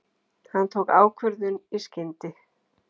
Hann tók ákvörðun í skyndi.